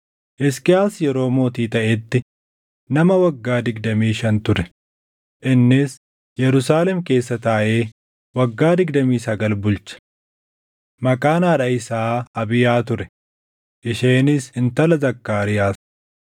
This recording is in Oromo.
Hisqiyaas yeroo mootii taʼetti nama waggaa digdamii shan ture; innis Yerusaalem keessa taaʼee waggaa digdamii sagal bulche. Maqaan haadha isaa Abiyaa ture; isheenis intala Zakkaariyaas.